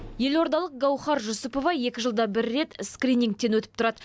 елордалық гауһар жүсіпова екі жылда бір рет скринигтен өтіп тұрады